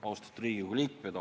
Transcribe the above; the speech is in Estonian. Austatud Riigikogu liikmed!